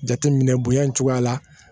Jateminɛ bonya in cogoya la